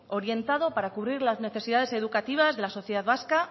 orientado para cubrir la necesidades educativas de las sociedad vasca